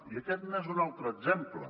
i aquest n’és un altre exemple